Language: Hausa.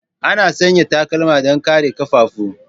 Ana sanya takalma don kare ƙafafu.